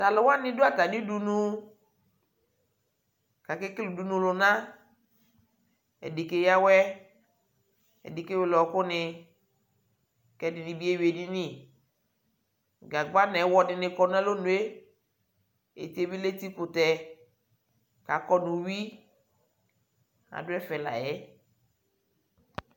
Talʋwani dʋ atami udunu kʋ akekele udunulʋna Ɛdι keyawɛ, ɛdι kewele ɔɔkʋ nι kʋ ɛdini bi ewi edini Gagba nʋ ɛwɔ dι nι kɔ nʋ alonue Eti yɛ bi lɛ eti kʋtɛ kʋ akɔdu uwi, adʋ ɛfɛ la yɛ